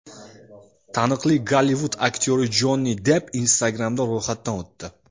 Taniqli Gollivud aktyori Jonni Depp Instagram’da ro‘yxatdan o‘tdi .